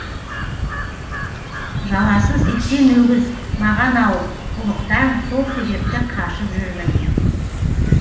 жаласы сексен өгіз маған ауып ұлықтан сол себепті қашып жүрмін